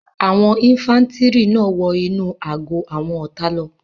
Àwọn ifàntiri náà wọ inú àgọ́ àwọn ọ̀tá lọ